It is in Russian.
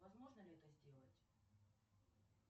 возможно ли это сделать